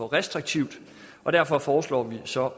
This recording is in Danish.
restriktivt derfor foreslår vi så